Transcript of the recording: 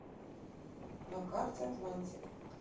на карте атлантик